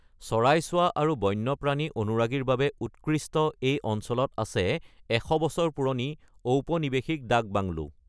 চৰাই চোৱা আৰু বন্যপ্ৰাণী অনুৰাগীৰ বাবে উৎকৃষ্ট এই অঞ্চলত আছে ১০০ বছৰ পুৰণি ঔপনিৱেশিক ডাক বাংলো।